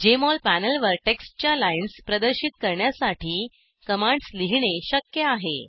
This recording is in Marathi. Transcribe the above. जेएमओल पॅनेलवर टेक्स्टच्या लाइन्स प्रदर्शित करण्यासाठी कमांड्स लिहीणे शक्य आहे